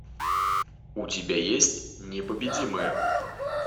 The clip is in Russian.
у тебя есть непобедимые